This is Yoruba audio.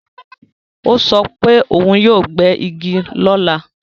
Ó sọ wípé yóò gbé Igi ní ọ̀la